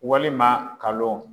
Walima kalon